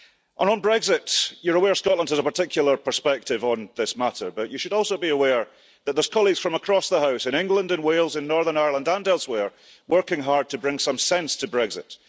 And on Brexit you are aware that Scotland has a particular perspective on this matter, but you should also be aware that there are colleagues from across the House in England and Wales and Northern Ireland and elsewhere working hard to bring some sense to Brexit.